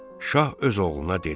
Şah öz oğluna dedi: